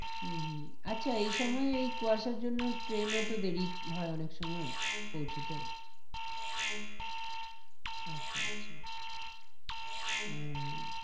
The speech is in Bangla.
হম হম আচ্ছা এই সময় ওই কুয়াশার জন্য ট্রেন ও তো দেরি হয় অনেক সময় পৌঁছোতে আচ্ছা আচ্ছা আহ